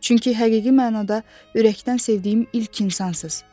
Çünki həqiqi mənada ürəkdən sevdiyim ilk insansız.